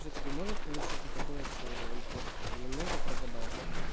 всё-таки может получиться такое что он просто немного прогадал